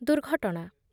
ଦୁର୍ଘଟଣା